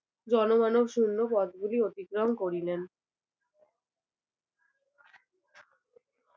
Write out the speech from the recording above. জনমানব শুন্য পথ গুলি অতিক্রম করিলেন